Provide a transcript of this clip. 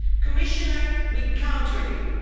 Commissioner, we count on you.